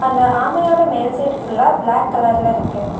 இந்த ஆமையோட மேல் சைடு ஃபுல்லா பிளாக் கலர்ல இருக்கு.